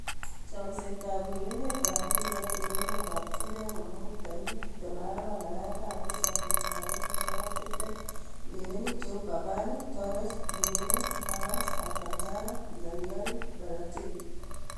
Chomset ab urerenet ab mbiret eng emet ab chumbek komuut 24.07.2020:Cavani, Torres, Gimenez, Havertz, Alcantara, Zaniolo, Balotelli